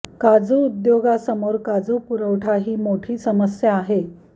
काजू उद्योगासमोर काजू पुरवठा ही मोठी समस्या आहे